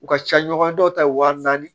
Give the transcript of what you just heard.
U ka ca ɲɔgɔn dɔw ta wa naani